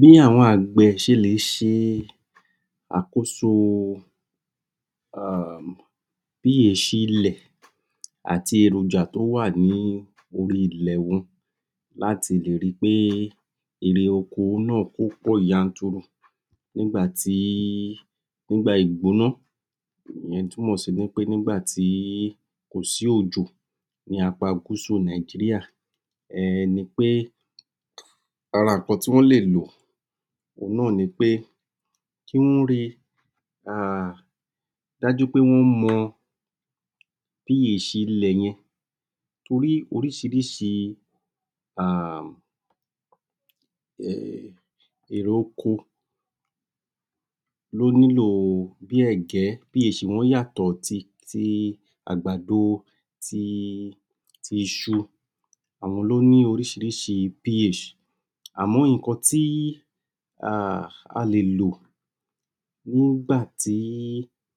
Bí àwọn àgbè ṣe le ṣe àkoso um ph ilẹ̀ àti èròjà tó wà ní orí ilẹ̀ wọn láti lè ri pé ìrè oko náà, ó pọ̀ yanturu. Nígbà tí nígbà ìgbóná ìyẹn túmọ̀ sí wí pé nígbà tí, kòsí òjò ní apá gúúsù Nàìjírìà um ni pé ara ǹnkan tí wọ́n lè lò òun náà ni pé kí wọ́n ri dájú pé wọ́n mọ ph ilẹ̀ yẹn torí oríṣìíríṣìí um irè-oko ló nílò, bí ẹ̀gẹ́, ph wọ́n yàtọ̀ sí ti àgbàdo àti iṣu àwọn ló ní oríṣìíríṣìí ph. àmọ́, ǹnkan tí um a lè lò nígbà tí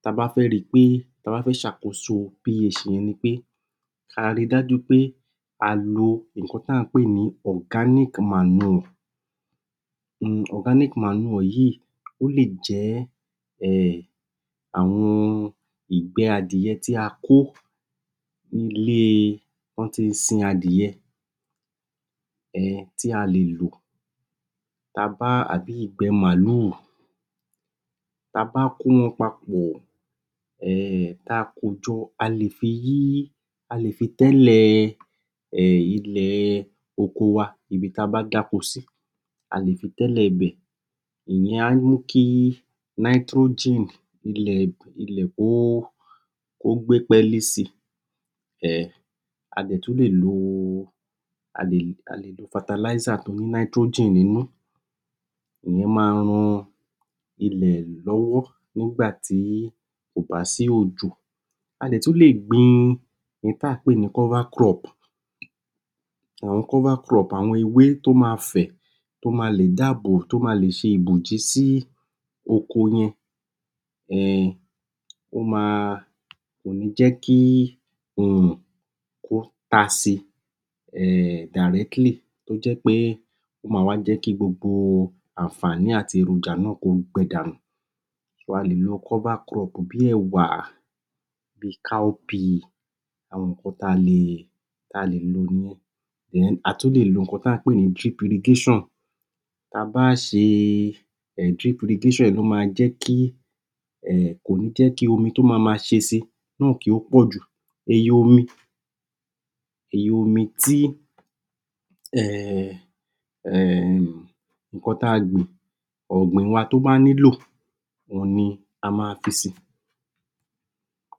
ta bá fẹ́ ri pé ta bá fẹ́ ṣe àkoso ph yẹn ni pé a ri dájú pé a lo ǹnkan tí à ń pè ní organic manure. Organic manure yìí, ó lè jẹ́ um àwọn ìgbẹ́ adìẹ tí a kó ní ilé tó tí ń sin adìẹ um tí a lè lò tàbí ìgbẹ́ màlúù ta bá kó wọn papọ̀ um tá a kojọ, a lè fi yí a lè fi tẹ́lè ilẹ̀ oko wa, ibi tí a bá dáko sí a lè fi tẹ́lè ibẹ̀ ìyẹn á ní kí nitrogen ilẹ̀ kó gbé pẹ́lí si. um a dẹ̀ tún lè lo a lè lo fertilizer tó ní nitrogen nínú ìyẹn máa ran ilẹ̀ lọ́wọ́ nígbà tí kò bá sí òjò. a dẹ̀ tún le gbin ohun tí à ń pè ní cover crop. Àwọn cover crop, àwọn ewé tó máa fẹ̀ tó máa lè dáàbò, tó máa lè ṣe ìbòjì sí oko yẹn. um ó máa, kò ní jẹ́ kí òrùn kó tasi um directly, tó jẹ́ pé ó máa wá jẹ́ kí gbogbo àǹfààní àti èròjà náà kó gbẹ danù. a lè lo cover crop bí ẹ̀wà, bí i cowpea àwọn ǹnkan tí a lè tí a lè lò ni a tún lè lo ohun tí à ní pè ní triplication. Ta bá ṣe um triplication yìí, ó máa jẹ́ kí um kò ní jẹ́ kí omi tó máa máa ṣe si, náà kí ó pọ̀jù, iye omi iye omi tí um um ǹnkan tí a gbìn, ọ̀gbìn wa tó bá nílò òun ni a máa fi si.